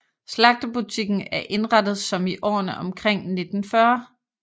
Slagterbutikken er indrettet som i årene omkring 1940